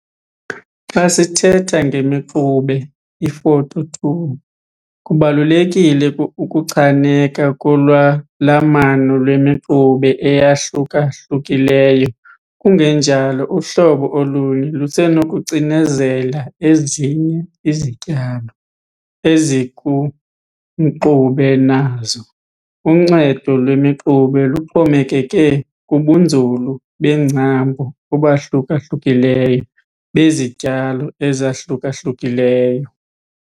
Xa sithetha ngemixube, iFoto 2, kubalulekile ukuchaneka kolwalamano lwemixube eyahluka-hlukileyo kungenjalo uhlobo olunye lusenokucinezela ezinye izityalo ezikumxube nazo. Uncedo lwemixube luxhomekeke kubunzulu beengcambu obahluka-hlukileyo bezityalo ezahluka-hlukileyo.